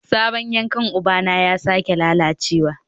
Sabon yankan ubana ya sake lalacewa